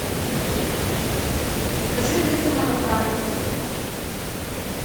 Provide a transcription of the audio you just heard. закажи литр молока нытва